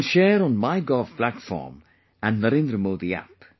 You can share on MyGov platform and Narendra Modi app